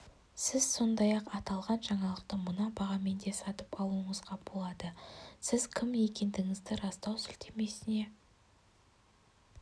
сіз сондай-ақ аталған жаңалықты мына бағамен де сатып алуыңызға болады сіз кім екендігіңізді растау сілтемесіне